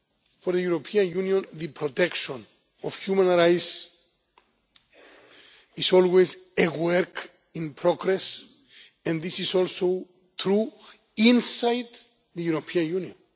For the European Union, the protection of human rights is always a work in progress, and this is also true inside the European Union.